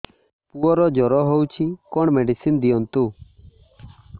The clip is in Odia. ପୁଅର ଜର ହଉଛି କଣ ମେଡିସିନ ଦିଅନ୍ତୁ